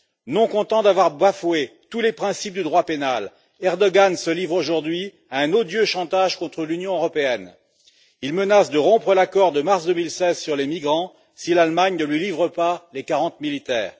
Non content d'avoir bafoué tous les principes du droit pénal, Erdoğan se livre aujourd'hui à un odieux chantage contre l'Union européenne. Il menace de rompre l'accord de mars 2016 sur les migrants si l'Allemagne ne lui livre pas les 40 militaires.